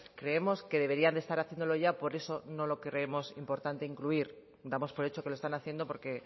creemos que deberían de estar haciéndolo ya por eso no lo creemos importante incluir damos por hecho que lo están haciendo porque